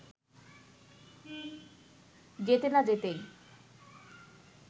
যেতে না যেতেই